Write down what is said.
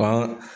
Ban